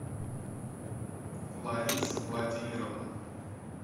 лариса владимировна